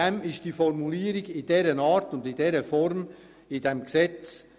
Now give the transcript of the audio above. Aus diesem Grund finden Sie diese Formulierung im Gesetz.